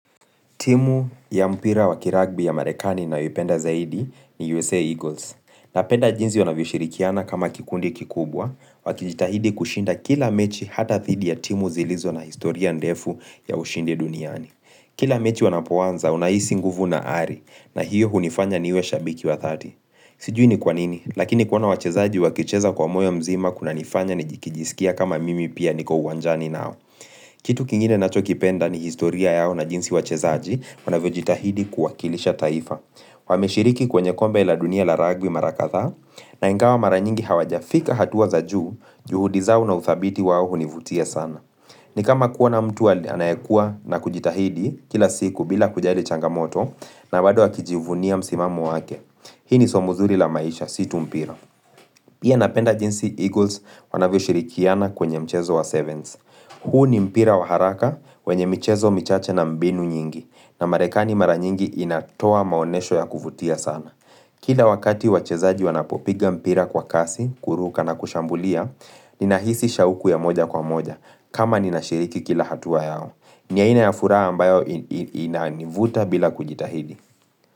Timu ya mpira wa kiragbi ya marekani naipenda zaidi ni USA Eagles. Napenda jinsi wanavyoshirikiana kama kikundi kikubwa, wakijitahidi kushinda kila mechi hata dhidi ya timu zilizo na historia ndefu ya ushindi duniani. Kila mechi wanapoanza unaisi nguvu na ari, na hiyo hunifanya niwe shabiki wa dhati. Sijui ni kwa nini, lakini kuona wachezaji wakicheza kwa moyo mzima kunanifanya nikijisikia kama mimi pia niko uwanjani nao. Kitu kingine nacho kipenda ni historia yao na jinsi wachezaji wanavyojitahidi kuwakilisha taifa Wameshiriki kwenye kombe la dunia la rugby mara kadhaa na ingawa mara nyingi hawajafika hatua za juu juhudi zao na uthabiti wao hunivutia sana ni kama kuona mtu anayekua na kujitahidi kila siku bila kujali changamoto na bado akijivunia msimamo wake Hii ni somo zuri la maisha si tu mpira Pia napenda jinsi Eagles wanavyoshirikiana kwenye mchezo wa Sevens Hu ni mpira wa haraka, wenye michezo michache na mbinu nyingi, na marekani mara nyingi inatoa maonesho ya kuvutia sana. Kila wakati wachezaji wanapopiga mpira kwa kasi, kuruka na kushambulia, nina hisi shauku ya moja kwa moja, kama ninashiriki kila hatua yao. Ni aina ya furaha ambayo inanivuta bila kujitahidi.